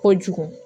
Kojugu